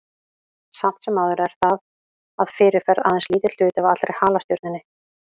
Samt sem áður er það að fyrirferð aðeins lítill hluti af allri halastjörnunni.